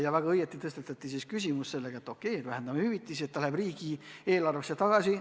Samas väga õigesti tõstatati küsimus, et okei, vähendame hüvitisi, see raha läheb riigieelarvesse tagasi.